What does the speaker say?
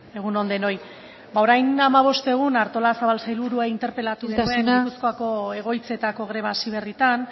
egun on denoi ba orain hamabost egun artolazabal sailburuak interpelatu genuen gipuzkoako egoitzetako greba hasi berritan